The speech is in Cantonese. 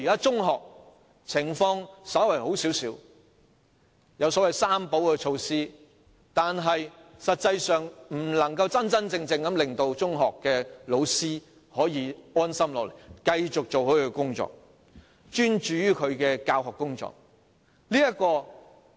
中學的情況稍為好一些，有所謂"三保"措施，但實際上卻不能真正令中學教師安心，繼續專注於他們的教學工作。